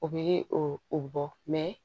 O bɛ o bɔ